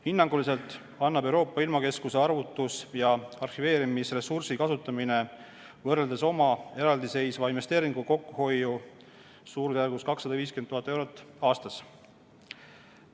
Hinnanguliselt annab Euroopa ilmakeskuse arvutus- ja arhiveerimisressursi kasutamine võrreldes oma eraldiseisva investeeringuga kokkuhoiu suurusjärgus 250 000 eurot aastas.